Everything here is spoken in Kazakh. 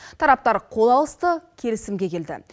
тараптар қол алысты келісімге келді